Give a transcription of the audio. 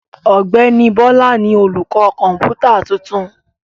Ọ̀gbẹ́ni Bọ́lá ni olùkọ́ kọ̀ǹpútà tuntun.